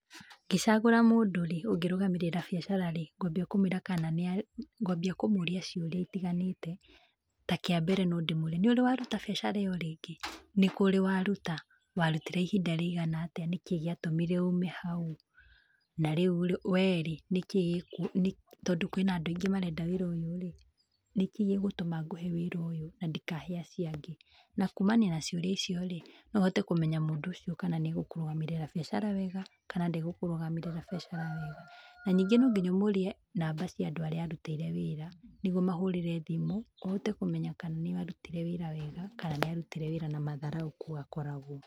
Ngĩcagũra mũndũ rĩ, ũngĩrũgamĩrĩra biacara rĩ, ngwambia kũmwĩra kana nĩ ngwambia kũmũria ciũria itiganĩte, ta kĩambere no ndĩmũrie; nĩ ũrĩ waruta biacara ĩyo rĩngĩ? Nĩ kũ ũrĩ waruta? Warutire ihinda rĩigana atĩa? Nĩ kĩĩ gĩatũmire ume hau? Na rĩu rĩ, wee rĩ, nĩkĩĩ tondũ kwĩna andũ aingĩ marenda wĩra ũyũ rĩ, nĩkĩĩ gĩgũtũma ngũhe wĩra ũyũ na ndikahe acio angĩ? Na kuumana na ciũria icio rĩ, no hote kũmenya mũndũ ũcio kana nĩ agũkũrũgamĩrĩra biacara wega kana ndagũkũrũgamĩrĩra biacara wega. Na ningĩ no nginya ũmũrie namba cia andũ arĩa arutĩire wĩra, nĩguo ũmahũrĩre thimũ, ũhote kũmenya kana nĩ arutire wĩra wega kana nĩ arutire wĩra na matharaũ kũu akoragwo.